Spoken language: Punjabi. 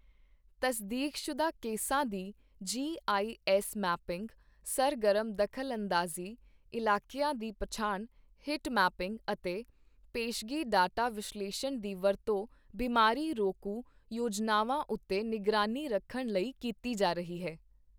ਤਸਦੀਕਸ਼ੁਦਾ ਕੇਸਾਂ ਦੀ ਜੀਆਈਐੱਸ ਮੈਪਿੰਗ, ਸਰਗਰਮ ਦਖ਼ਲ ਅੰਦਾਜ਼ੀ ਇਲਾਕੀਆਂ ਦੀ ਪਛਾਣ, ਹੀਟ ਮੈਪਿੰਗ ਅਤੇ ਪੇਸ਼ਗੀ ਡਾਟਾ ਵਿਸ਼ਲੇਸ਼ਣ ਦੀ ਵਰਤੋਂ ਬਿਮਾਰੀ ਰੋਕੂ ਯੋਜਨਾਵਾਂ ਉੱਤੇ ਨਿਗਰਾਨੀ ਰੱਖਣ ਲਈ ਕੀਤੀ ਜਾ ਰਹੀ ਹੈ।